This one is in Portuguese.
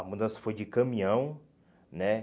A mudança foi de caminhão, né?